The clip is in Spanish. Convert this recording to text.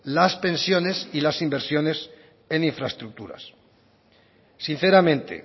las pensiones y las inversiones en infraestructuras sinceramente